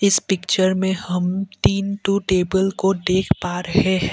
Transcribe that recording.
इस पिक्चर में हम तीन ठो टेबल को देख पा रहे हैं।